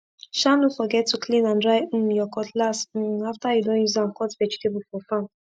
sha no forget to clean and dry um ur cutlass um after u don use am cut vegetable for farm